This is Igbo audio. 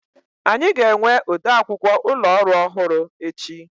Anyị ga-enwe ode akwụkwọ ụlọ orụ ọhụrụ echi.